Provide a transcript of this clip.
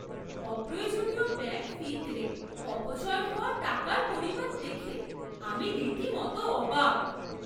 অপ্রয়োজনীয় bank fee তে অপচয় হওয়া টাকার পরিমাণ দেখে আমি রীতিমতো অবাক!